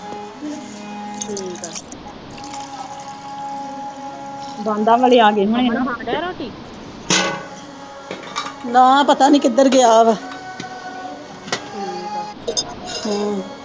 ਵਾਲੇ ਆ ਗਏ ਹੋਣੇ। ਨਾ ਪਤਾ ਨੀ ਕਿਧਰ ਗਿਆ ਵਾ।